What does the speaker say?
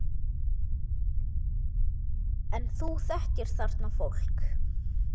En þú þekkir þarna fólk?